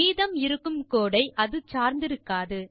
மீதம் இருக்கும் கோடு ஐ அது சார்ந்திருக்காது